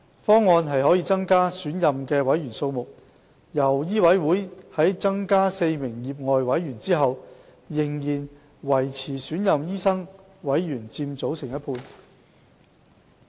方案可增加選任委員的數目，令醫委會在增加4名業外委員後，仍然維持選任醫生委員佔委員總人數的一半。